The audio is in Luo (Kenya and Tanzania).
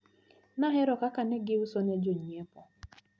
Nahero kaka negiusone jonyiepo.